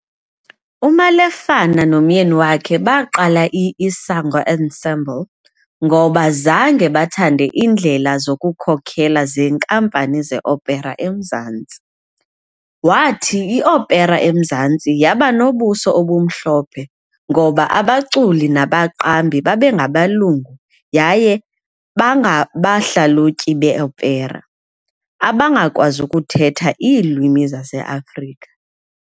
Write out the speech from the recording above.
UMalefane nomyeni wakhe baqala i-Isango Ensemble ngoba zange bathande iindlela zokukhokhela zeenkampani ze-opera eMzantsi. Wathi i-opera eMzantsi yaba nobuso obumhlophe ngoba abaculi nabaqambi babengabelungu yaye bangabahlalutyi be-opera abangakwazi ukuthetha iilwimi zaseAfrika.